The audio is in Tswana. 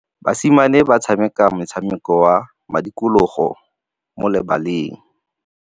Basimane ba tshameka motshameko wa modikologô mo lebaleng.